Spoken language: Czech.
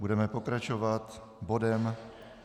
Budeme pokračovat bodem